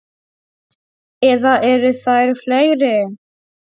Eða eru þær fleiri?